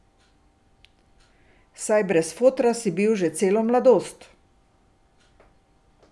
Saj brez fotra si bil že celo mladost.